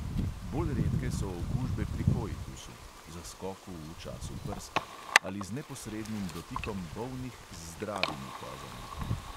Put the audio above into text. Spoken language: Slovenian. Bolj redke so okužbe pri koitusu (zaskoku v času prska) ali z neposrednim dotikom bolnih z zdravimi kozami.